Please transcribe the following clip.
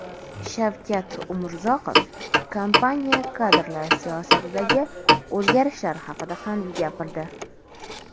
Shavkat Umurzoqov kompaniya kadrlar siyosatidagi o‘zgarishlar haqida ham gapirdi.